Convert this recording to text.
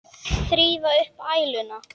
Þrífðu upp æluna.